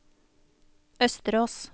Østerås